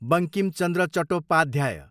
Bankim Chandra Chattopadhyay